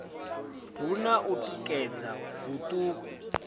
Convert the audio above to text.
hu na u tikedza huṱuku